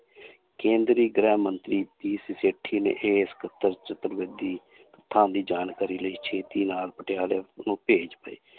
ਕੇਂਦਰੀ ਗ੍ਰਹਿ ਮੰਤਰੀ ਚਤੁਰਬੇਦੀ ਤੱਥਾਂ ਦੀ ਜਾਣਕਾਰੀ ਲਈ ਛੇਤੀ ਨਾਲ ਪਟਿਆਲੇ ਨੂੰ ਭੇਜ ਪਏ